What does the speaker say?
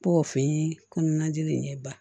Bɔ o fɛn kɔnɔnajeli in ye ba